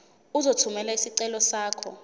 uzothumela isicelo sakho